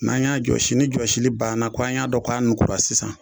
N'an y'a jɔsi ni jɔsili banna k'an y'a dɔn k'a nukura sisan